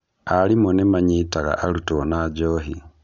Arimũ nĩmanyitaga arutwo na njohi.